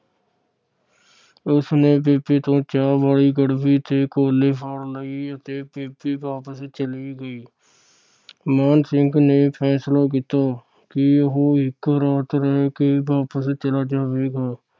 ਉਸਨੇ ਬੇਬੇ ਤੋਂ ਚਾਹ ਵਾਲੀ ਗੜਵੀ ਤੇ ਕੋਲੀ ਫੜ ਲਈ ਅਤੇ ਬੇਬੇ ਵਾਪਿਸ ਚਲੀ ਗਈ । ਮਾਣ ਸਿੰਘ ਨੇ ਫੈਸਲਾ ਕੀਤਾ ਕਿ ਉਹ ਇਕ ਰਾਤ ਰਹਿ ਕੇ ਵਾਪਸ ਚਲਾ ਜਾਵੇਗਾ।